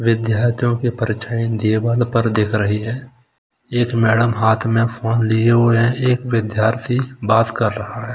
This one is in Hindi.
विद्यार्थियों की परीक्षाऐं पर दिख रही हैं एक मैडम हाथ में फोन लिए हुए हैं एक विद्यार्थी बात कर रहा है।